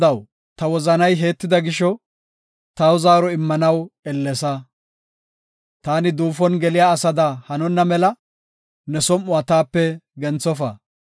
Godaw, ta wozanay heettida gisho taw zaaro immanaw ellesa. Taani duufon geliya asada hanonna mela ne som7uwa taape genthofa.